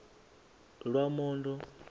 lwamondo